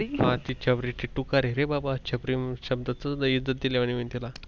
ते छपरी ती टुकार रे बाबा छपरी म्हणून शब्दाच इज्जत दिल्या वाणी होईन त्याला